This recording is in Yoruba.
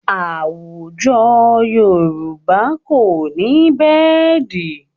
Àwùjọ Yorùbá kò ní bẹ́ẹ̀dì